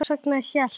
En hvers vegna hélt